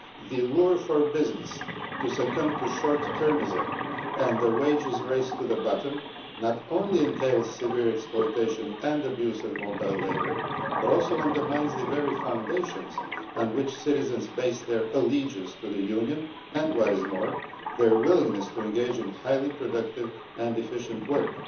The lure for business to succumb to short termism and the wages race to the bottom not only entails severe exploitation and abuse of mobile labour but also undermines the very foundations on which citizens base their allegiance to the Union and, what is more, their willingness to engage in highly productive and efficient work.